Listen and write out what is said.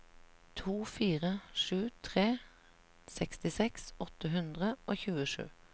to fire sju tre sekstiseks åtte hundre og tjuesju